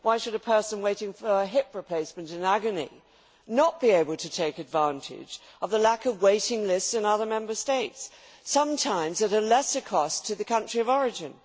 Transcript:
Why should a person waiting in agony for a hip replacement not be able to take advantage of the lack of waiting lists in other Member States sometimes at a lesser cost to the country of origin?